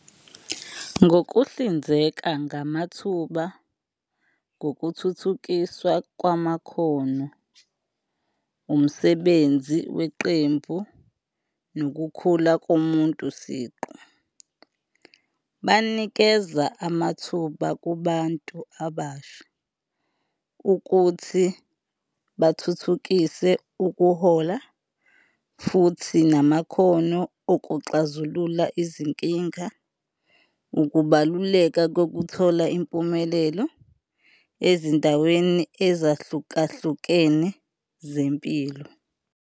Ngokuhlinzeka ngamathuba ngokuthuthukiswa kwamakhono, umsebenzi weqembu nokukhula komuntu siqu, banikeza amathuba kubantu abasha ukuthi bathuthukise ukuhola futhi namakhono okuxazulula izinkinga. Ukubaluleka kokuthola impumelelo ezindaweni ezahlukahlukene zempilo.